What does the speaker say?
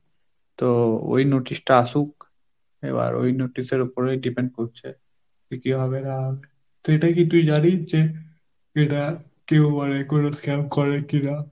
তো ওই notice আসুক এবার ওই এবার ওই notice এর ওপরেই depend করছে, তো কি হবে না হবে তো এটা কি তুই জানিস যে এটা কেউ মানে কোন scam করে কিনা?